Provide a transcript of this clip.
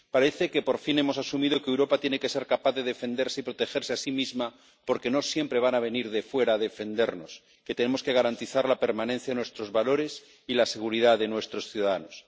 Parece que por fin hemos asumido que Europa tiene que ser capaz de defenderse y protegerse a sí misma —porque no siempre van a venir de fuera a defendernos—, que tenemos que garantizar la permanencia de nuestros valores y la seguridad de nuestros ciudadanos.